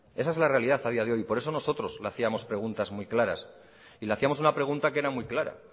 esa es la realidad a día de hoy por eso nosotros le hacíamos preguntas muy claras y le hacíamos una pregunta que era muy clara